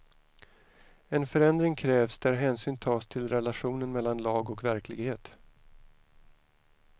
En förändring krävs där hänsyn tas till relationen mellan lag och verklighet.